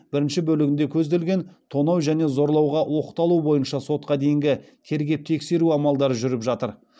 бірінші бөлігінде көзделген тонау және зорлауға оқталу бойынша сотқа дейінгі тергеп тексеру амалдары жүріп жатыр